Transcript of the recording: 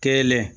Kelen